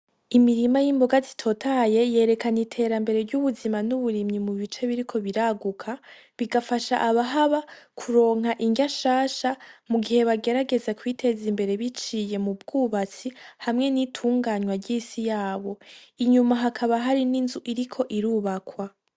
Imirima y’imboga zitotaye yerekana iterambere ry’ubuzima n’uburimyi mu bice biriko biraguka, bigafasha abahaba kuronka indya nshasha mu gihe bagerageza kwiteza imbere biciye mu bwubatsi hamwe n’itunganywa ry’isi yabo. Inyuma hakaba hari n’inzu iriko irubakwa.